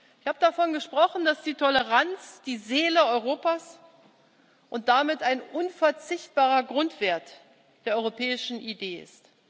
Ich habe davon gesprochen, dass die Toleranz, die Seele Europas und damit ein unverzichtbarer Grundwert der europäischen Idee ist.